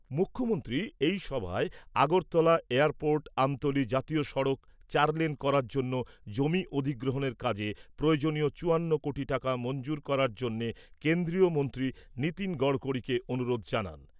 মুখ্যমন্ত্রী এই সভায় আগরতলা এয়ারপোর্ট আমতলী জাতীয় সড়ক চারলেন করার জন্য জমি অধিগ্রহণের কাজে প্রয়োজনীয় চুয়ান্ন কোটি টাকা মঞ্জুর করার জন্যে কেন্দ্রীয় মন্ত্রী নীতিন গড়কড়িকে অনুরোধ জানান।